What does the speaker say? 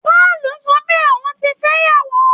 Pọ́ọ̀lù sọ pé òun ti fẹ́yàwó